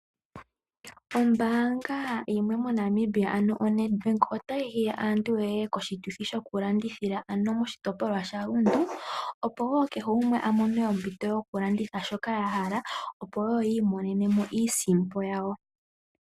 Ombaanga yimwe moNamibia ano oNedBank otayi hiya aantu ye ye koshituthi shokulandithila moshitopolwa sha Rundu opo kehe gumwe a mone ompito yokulanditha shoka a hala opo i imonene mo iisimpo ye.